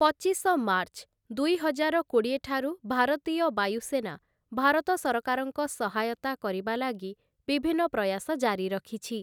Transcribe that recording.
ପଚିଶ ମାର୍ଚ୍ଚ, ଦୁଇହଜାର କୋଡ଼ିଏ ଠାରୁ ଭାରତୀୟ ବାୟୁସେନା ଭାରତ ସରକାରଙ୍କ ସହାୟତା କରିବା ଲାଗି ବିଭିନ୍ନ ପ୍ରୟାସ ଜାରି ରଖିଛି ।